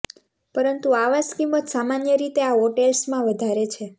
પરંતુ આવાસ કિંમત સામાન્ય રીતે આ હોટેલ્સમાં વધારે છે